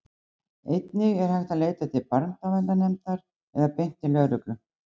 einnig er hægt að leita til barnaverndarnefndar eða beint til lögreglu